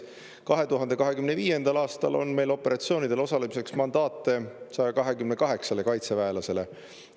2025. aastal on meil operatsioonidel osalemiseks mandaate 128 kaitseväelasele.